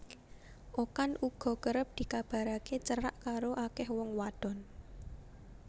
Okan uga kerep dikabaraké cerak karo akéh wong wadon